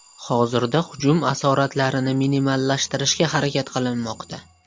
Hozirda hujum asoratlarini minimallashtirishga harakat qilinmoqda.